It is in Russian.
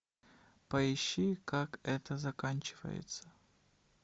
поищи как это заканчивается